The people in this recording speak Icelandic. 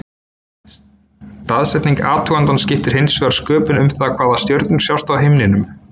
Staðsetning athugandans skiptir hins vegar sköpum um það hvaða stjörnur sjást á himninum.